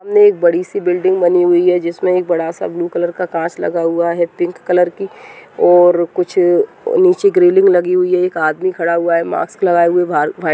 सामने एक बड़ी सी बिल्डिंग बनी हुई है जिसमें एक बड़ा सा ब्लू कलर का कांच लगा हुआ है पिंक कलर की और कुछ नीचे ग्रिलिंग लगी हुई है एक आदमी खड़ा हुआ है मास्क लगाए हुए भा--